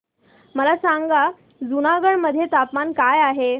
मला सांगा जुनागढ मध्ये तापमान काय आहे